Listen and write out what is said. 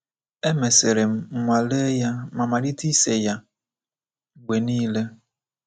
Emesịrị m nwale ya ma malite ise ya mgbe nile."